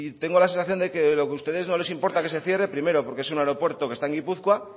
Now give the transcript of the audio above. tengo la sensación de que lo que a ustedes no les importa que se cierre primero porque es un aeropuerto que está en gipuzkoa